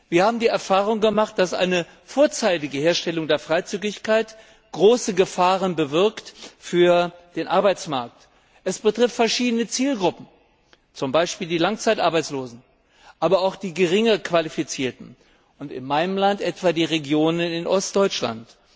Wir haben die Erfahrung gemacht, dass eine vorzeitige Herstellung der Freizügigkeit große Gefahren für den Arbeitsmarkt in sich birgt. Es betrifft verschiedene Zielgruppen, zum Beispiel die Langzeitarbeitslosen, aber auch die Geringqualifizierten, und in meinem Land etwa die Regionen in Ostdeutschland.